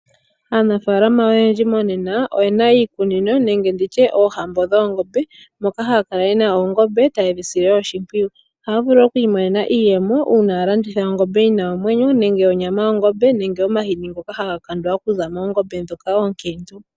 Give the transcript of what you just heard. Aanafaalama oyendji monena oyena iikunino nenge oohambo dhoongombe, moka haya kala yena oongombe taye dhi sile oshimpwiyu. Ohaya vulu okwiimonena iiyemo uuna yaa landitha ongombe yi na omwenyo nenge onyama yongombe nenge omahini ngoka haga kandwa okuza moongombe ndhoka oonkiintu.